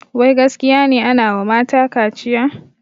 Wai gaskiya ne anawa mata kaciya?